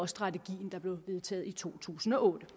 strategien der blev vedtaget i to tusind og otte